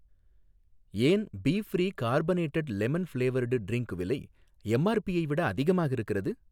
ஏன் B free carbonated lemon flavoured drink விலை எம்ஆர்பியை விட அதிகமாக இருக்கிறது?